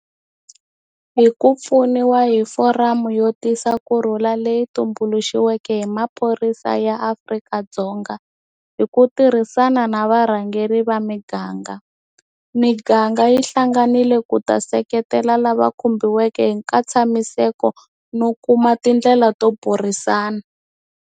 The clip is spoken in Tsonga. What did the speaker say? Hi ku pfuniwa hi foramu yo tisa kurhula leyi tumbuxiweke hi maphorisa ya Afrika-Dzonga hi ku tirhisana na varhangeri va miganga, miganga yi hlanganile ku ta seketela lava khumbiweke hi nkatshamiseko no kuma tindlela to burisana.